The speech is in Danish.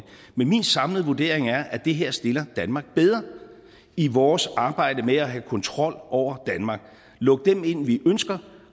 men min samlede vurdering er at det her stiller danmark bedre i vores arbejde med at have kontrol over danmark lukke dem ind vi ønsker